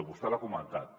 vostè l’ha comentat